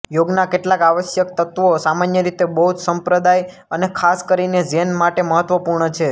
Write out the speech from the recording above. યોગના કેટલાક આવશ્યક તત્વો સામાન્ય રીતે બૌદ્ધ સંપ્રદાય અને ખાસ કરીને ઝેન માટે મહત્વપૂર્ણ છે